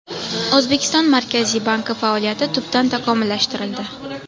O‘zbekiston Markaziy banki faoliyati tubdan takomillashtirildi.